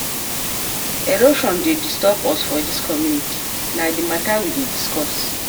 Erosion dey disturb us for dis community, na di mata we dey discuss.